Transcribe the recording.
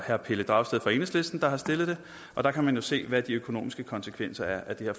herre pelle dragsted fra enhedslisten der har stillet det der kan man jo se hvad de økonomiske konsekvenser af det her